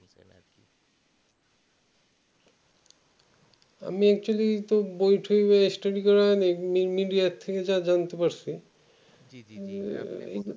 আমি তো actually বই টয় টা study করা media থেকে যা জানতে পারসি